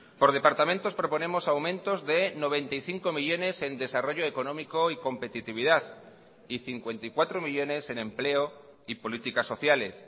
por departamentos proponemos aumentos de noventa y cinco millónes en desarrollo económico y competitividad y cincuenta y cuatro millónes en empleo y políticas sociales